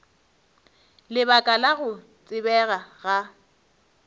lebaka la go tsebega ga